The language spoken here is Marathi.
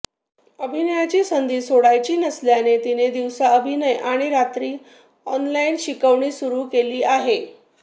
अभिनयाची संधी सोडायची नसल्याने तिने दिवसा अभिनय आणि रात्री ऑनलाइन शिकवणी सुरू केली आहे